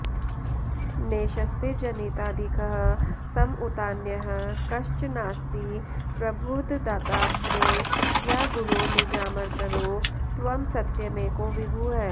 नेशस्ते जनिताधिकः सम उतान्यः कश्चनास्ति प्रभुर्दत्तात्रे य गुरो निजामरतरो त्वं सत्यमेको विभुः